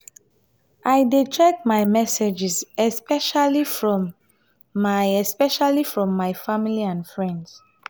i dey check my messages especially from my especially from my family and friends.